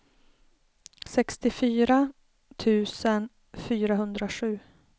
sextiofyra tusen fyrahundrasju